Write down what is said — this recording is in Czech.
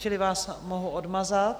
Čili vás mohu odmazat.